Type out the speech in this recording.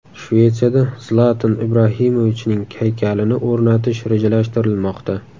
Shvetsiyada Zlatan Ibrahimovichning haykalini o‘rnatish rejalashtirilmoqda .